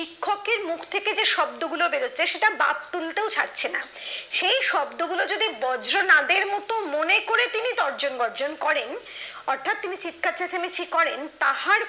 শিক্ষকের মুখ দিয়ে যে শব্দগুলো বের হচ্ছে সেটা বাদ তুলতেও ছাড়ছে না সেই শব্দগুলো যদি বজ্র নাথের মতো মনে করে যদি তিনি তর্জন বর্জন করেন অর্থাৎ তিনি চিৎকার চেঁচামেচি করেন তাহার